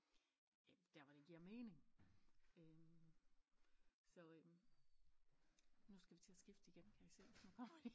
Der hvor det giver mening øh så øh nu skal vi til at skifte igen kan jeg se nu kommer de